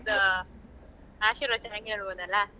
ಅವ್ರದ್ದು ಆಶೀರ್ವಚನ ಕೇಳ್ಬೋದಲ್ಲ.